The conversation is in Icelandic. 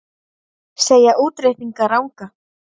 Segja útreikninga ranga